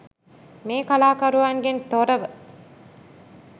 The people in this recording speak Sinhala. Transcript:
මේ කලාකරුවන්ගෙන් තොරව